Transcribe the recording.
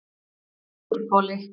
Suðurhvoli